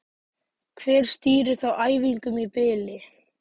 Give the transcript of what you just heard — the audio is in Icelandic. Hver stýrir þá æfingum í bili?